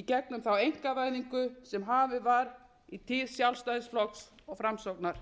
í gegnum þá einkavæðingu sem hafin var í tíð sjálfstæðisflokks og framsóknar